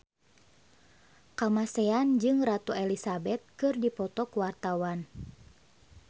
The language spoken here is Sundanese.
Kamasean jeung Ratu Elizabeth keur dipoto ku wartawan